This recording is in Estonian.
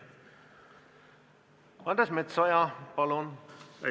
Andres Metsoja, palun!